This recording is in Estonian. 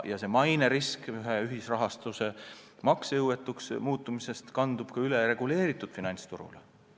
Löögi alla satub ka maine, kui ühisrahastuse maksejõuetuks muutumise risk kandub üle reguleeritud finantsturule.